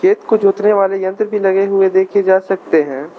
कुछ जोतने वाले यंत्र भी लगे हुए देखे जा सकते हैं।